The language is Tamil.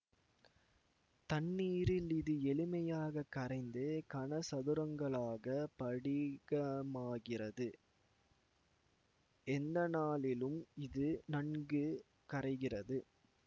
தண்ணீரில் இது எளிமையாகக் கரைந்து கனசதுரங்களாகப் படிகமாகிறது எந்தனாலிலும் இது நன்கு கரைகிறது